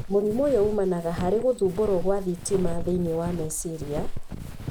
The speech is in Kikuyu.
Mũrimũ ũyũ ũmanaga harĩ gũthumbũrwo kwa thitima thĩinĩ wa meciria,